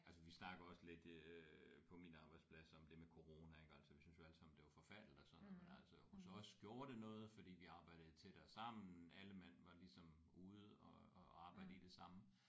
Altså vi snakker også lidt øh på min arbejdsplads om det med corona ik altså vi synes jo alle sammen det var forfærdeligt og sådan noget men altså hos os gjorde det noget fordi vi arbejdede tættere sammen alle mand var ligesom ude at at arbejde i det samme